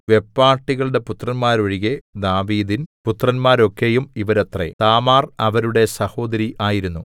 വെപ്പാട്ടികളുടെ പുത്രന്മാരൊഴികെ ദാവീദിൻ പുത്രന്മാരൊക്കെയും ഇവരത്രേ താമാർ അവരുടെ സഹോദരി ആയിരുന്നു